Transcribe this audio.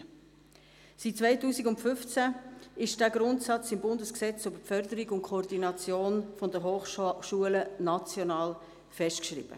Seit 2015 ist dieser Grundsatz im Bundesgesetz über die Förderung der Hochschulen und die Koordination im schweizerischen Hochschulbereich (Hochschulförderungs- und -koordinationsgesetz, HFKG) national festgeschrieben.